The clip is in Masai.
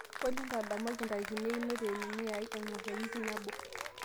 olly ntadamuaki ntarikini einoto e nini aai eng'or e wiki nabo